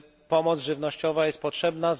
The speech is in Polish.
Pomoc żywnościowa jest potrzebna.